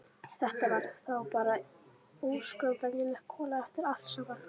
Þetta var þá bara ósköp venjuleg kona eftir allt saman.